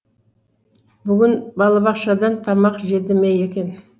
бүгін балабақшадан тамақ жеді ме екен